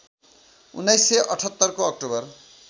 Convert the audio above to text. १९७८ को अक्टोबर